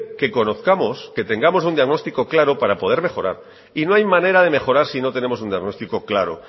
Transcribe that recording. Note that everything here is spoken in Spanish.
que conozcamos que tengamos un diagnostico claro para poder mejorar y no hay manera de mejorar si no tenemos un diagnóstico claro